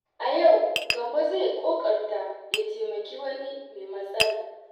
A yau, Gambo zai ƙoƙarta ya taimaki wani mai matsala.